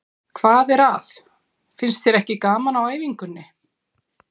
Hvað er að, finnst þér ekki gaman á æfingunni?